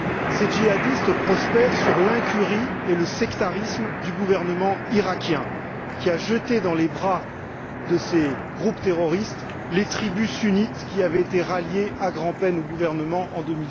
Ces djihadistes prospèrent sur l'incurie et le sectarisme du gouvernement irakien qui a jeté dans les bras de ces groupes terroristes les tribus sunnites qui avaient été ralliées à grand peine au gouvernement en